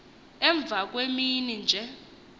emva kwemini nje